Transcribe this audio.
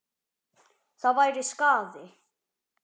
Það væri skaði.